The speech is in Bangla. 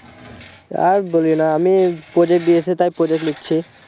আর বলিও না আমি project দিয়েছে তাই project লিখছি